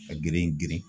Ka girin girin